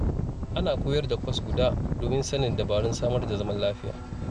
Ana koyar da kwas guda, domin sanin dabarun samar da zaman lafiya.